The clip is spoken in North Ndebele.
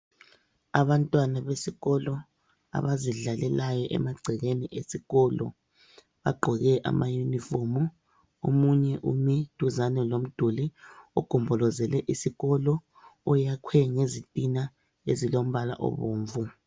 Abantwana besikolo abazidlalelayo emagcekeni esikolo bagqoke amayunifomu. Omunye ume duzane lomduli ogombolozele isikolo, oyakhwe ngezitina ezilombala obomvu.